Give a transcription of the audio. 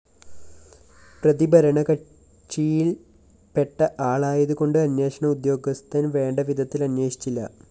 പ്രതി ഭരണകക്ഷിയില്‍പ്പെട്ട ആളായതുകൊണ്ട് അന്വേഷണ ഉദ്യോഗസ്ഥന്‍ വേണ്ടവിധത്തില്‍ അന്വേഷിച്ചില്ല